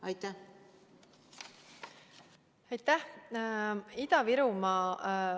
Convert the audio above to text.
Aitäh!